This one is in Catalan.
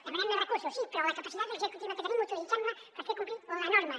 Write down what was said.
demanem més recursos sí però la capacitat executiva que tenim utilitzem la per fer complir la norma